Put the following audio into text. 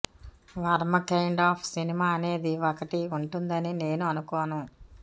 Varma kind of cinema అనేది ఒకటి ఉంటుందని నేను అనుకోను